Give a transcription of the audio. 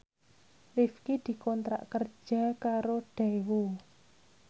Rifqi dikontrak kerja karo Daewoo